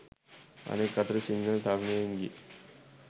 අනෙක් අතට සිංහල තරුණයින්ගේ